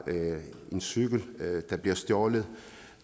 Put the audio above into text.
en cykel der bliver stjålet